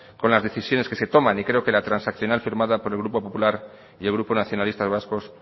con las decisiones que se toman y creo que la transaccional firmada por el grupo popular y el grupo nacionalistas vascos